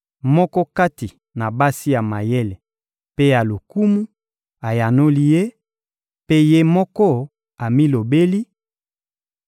Moko kati na basi ya mayele mpe ya lokumu ayanoli ye, mpe ye moko amilobeli: